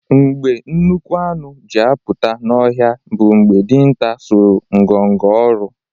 Mgbe nnukwu anụ ji apụta n’ọhịa bụ mgbe dinta sọrọ ngọngọ ọrụ